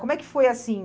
Como é que foi assim?